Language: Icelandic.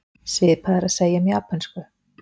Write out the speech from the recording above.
Svipað er að segja um japönsku.